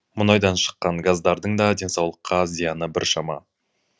мұнайдан шыққан газдардың да денсаулыққа зияны біршама